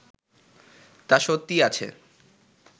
তা সত্যিই আছে